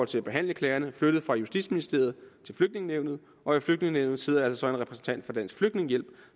til at behandle klagerne flyttet fra justitsministeriet til flygtningenævnet og i flygtningenævnet sidder altså en repræsentant for dansk flygtningehjælp